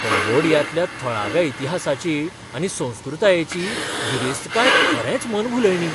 कंबोडियांतल्या थळाव्या इतिहासाची आनी संस्कृतायेची गिरेस्तकाय खरेंच मनभुलयणी.